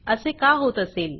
असे का होत असेल